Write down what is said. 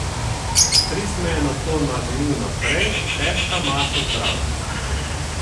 Stric se je nato nagnil naprej, težka masa zbranosti.